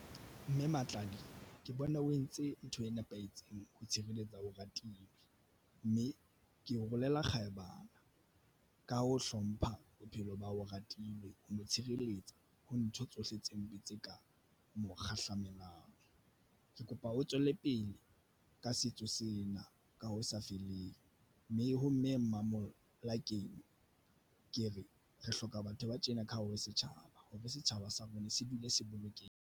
Mme Matladi ke bona o entse ntho e nepahetseng ho tshireletsa, Oratile mme ke rolele kgabane ka ho hlompha bophelo ba hao Oratilwe, o mo tshireletsa ho ntho tsohle tse mpe tse ka mo kgahlamelo. Ke kopa o tswele pele ka setso sena ka ho sa feleng, mme ha Mme Mamolakeng ke re re hloka batho ba tjena ka hare ho setjhaba, ho be setjhaba sa rona. Se dule se bolokehe.